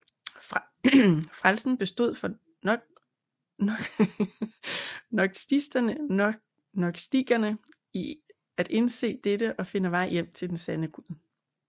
Frelsen bestod for gnostikerne i at indse dette og finde vej hjem til den sande gud